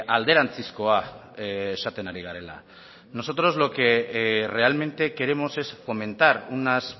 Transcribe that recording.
alderantzizkoa esaten ari garela nosotros lo que realmente queremos es fomentar unas